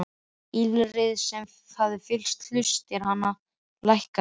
Ýlfrið sem hafði fyllt hlustir hans lækkaði.